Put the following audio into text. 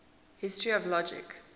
history of logic